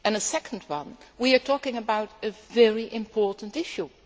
Secondly, we are talking about a very important issue.